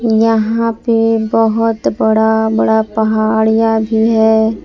यहां पे बहोत बड़ा बड़ा पहाड़िया भी है।